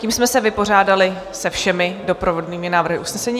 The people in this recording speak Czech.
Tím jsme se vypořádali se všemi doprovodnými návrhy usnesení.